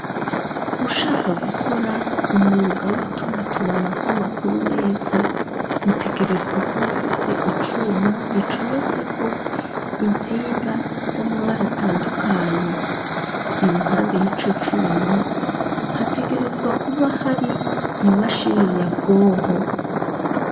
Ushaka gukora umwuga w'ituma tumana kw'amakuru neza utegerezwa kuba ufise icuma gicometse ko insinga z'amabara atandukanye iruhande y'ico cuma hategerezwa kuba hari imashini nyabwonko.